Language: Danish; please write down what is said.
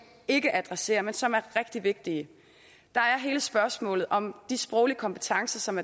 ikke adresserer men som er rigtig vigtige der er hele spørgsmålet om de sproglige kompetencer som